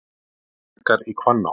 Hækkar í Hvanná